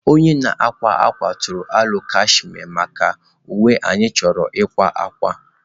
Onye na-akwa akwa tụrụ aro cashmere maka uwe anyị chọrọ ịkwa akwa.